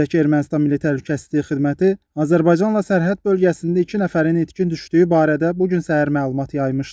Qeyd edək ki, Ermənistan Milli Təhlükəsizlik Xidməti Azərbaycanla sərhəd bölgəsində iki nəfərin itkin düşdüyü barədə bu gün səhər məlumat yaymışdı.